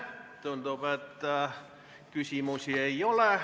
Tundub, et küsimusi ei ole.